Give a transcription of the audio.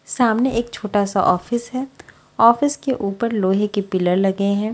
सामने एक छोटा सा ऑफिस है ऑफिस के ऊपर लोहे के पिलर लगे हुए है।